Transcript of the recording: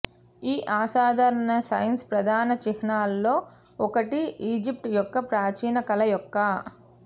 ఈ అసాధారణ సైన్ ప్రధాన చిహ్నాలలో ఒకటి ఈజిప్ట్ యొక్క ప్రాచీన కళ యొక్క